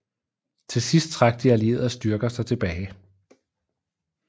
Til sidst trak de allierede styrker sig tilbage